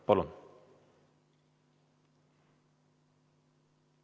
Palun!